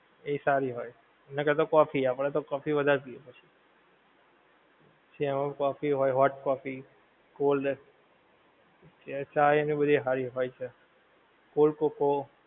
એ સારી હોએ નકાર તો કોફી આપડે તો કોફી વધારે પીવે પછી, ચા હોએ કોફી હોએ hot કોફી cold cold ચાએ તો બધી હારી હોએ છે cold coco